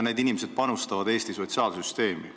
Need inimesed panustavad Eesti sotsiaalsüsteemi.